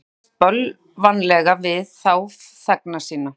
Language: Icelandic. Konungi ferst bölvanlega við þá þegna sína.